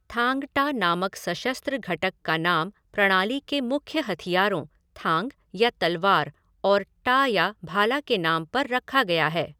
थांग टा नामक सशस्त्र घटक का नाम प्रणाली के मुख्य हथियारों, थांग या तलवार और टा या भाला के नाम पर रखा गया है।